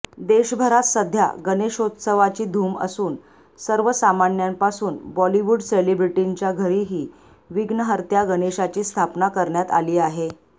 देशभरात सध्या गणेशोत्सवाची धूम असून सर्वसामान्यांपासून बॉलिवूड सेलिब्रिटींच्या घरीही विघ्नहर्त्या गणेशाची स्थापना करण्यात आली आहे